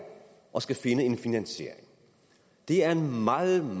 og skulle finde en finansiering det er en meget meget